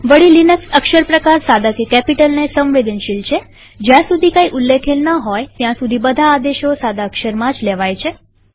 વળી લિનક્સ અક્ષર પ્રકારસાદા કે કેપિટલને સંવેદનશીલ છેજ્યાં સુધી કઈ ઉલ્લેખેલ ન હોય ત્યાં સુધી બધા આદેશો સાદા અક્ષરમાં જ લેવાય છે